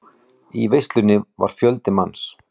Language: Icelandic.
Í veislunni var fjöldi manns.